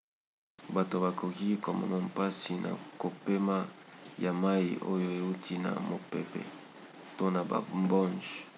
bato bakoki komona mpasi na kopema ya mai oyo euti na mopepe to na bambonge